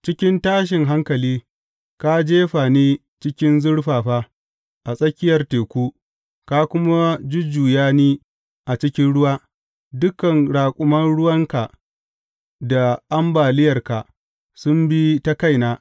Cikin tashin hankali, ka jefa ni cikin zurfafa, a tsakiyar teku, ka kuma jujjuya ni a cikin ruwa; dukan raƙuman ruwanka da ambaliyarka sun bi ta kaina.